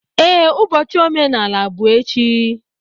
Ee, ụbọchị omenala bụ echi.